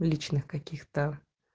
личных каких-то